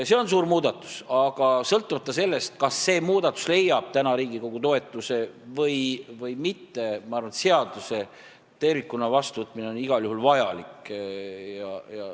See on suur muudatus, aga sõltumata sellest, kas see muudatus leiab praegu Riigikogu toetuse või mitte, ma arvan, et seaduse tervikuna vastuvõtmine on igal juhul vajalik.